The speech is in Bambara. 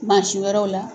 Mansin wɛrɛw la